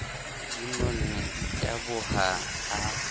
di nonne di taboha a